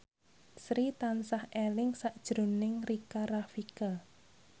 Sri tansah eling sakjroning Rika Rafika